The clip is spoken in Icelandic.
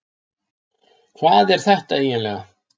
Hvað er þetta eiginlega?